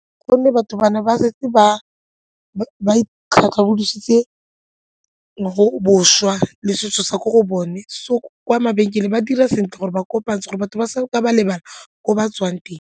Gonne batho ba ne ba setse ba le setso sa ko go bone so kwa mabenkeleng ba dira sentle gore ba kopantshe gore batho ba sa ka ba lebala ko ba tswang teng.